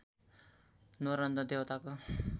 न्वारन र देवताको